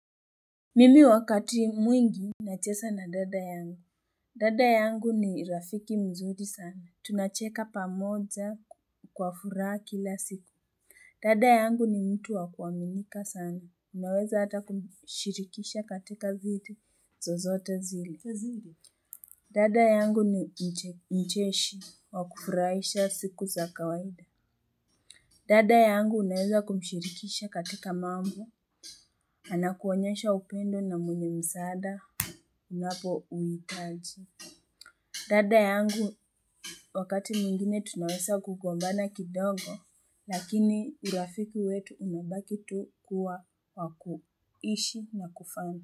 Mimi wakati mwingi nacheza na dada yangu dada yangu ni rafiki mzuri sana tunacheka pamoja kwa furaha kila siku dada yangu ni mtu wa kuaminika sana naweza hata kumshirikisha katika vitu zozote zili dada yangu ni mcheshi wa kufurahaisha siku za kawaida dada yangu unaweza kumshirikisha katika mambo anakuonyesha upendo na mwenye msaada. Unapo uhitaji dada yangu wakati mwingine tunawesa kugombana kidogo. Lakini urafiki wetu unabaki tu kuwa wakuishi na kufanga.